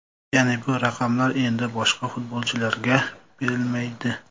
Ya’ni, bu raqamlar endi boshqa futbolchilarga berilmaydi.